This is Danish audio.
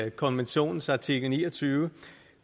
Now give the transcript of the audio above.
i konventionens artikel ni og tyve